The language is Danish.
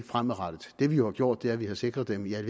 fremadrettet det vi jo har gjort er at vi har sikret dem i al